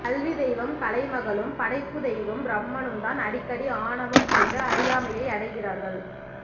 கல்வித்தெய்வம் கலைமகளும் படைப்புத்தெய்வம் பிரம்மனும்தான் அடிக்கடி ஆணவம் கொண்டு அறியாமையை அடைகிறார்கள்